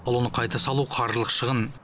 ал оны қайта салу қаржылық шығын